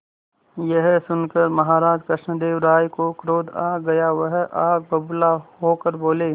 यह सुनकर महाराज कृष्णदेव राय को क्रोध आ गया वह आग बबूला होकर बोले